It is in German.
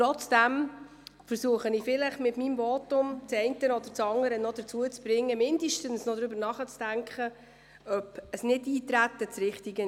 Trotzdem versuche ich mit meinem Votum, den einen oder anderen vielleicht noch dazu zu bringen, zumindest darüber nachzudenken, ob ein Nichteintreten das Richtige wäre.